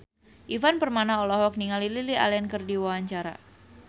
Ivan Permana olohok ningali Lily Allen keur diwawancara